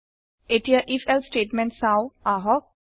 এতিয়া if else statement চাওঁ আহক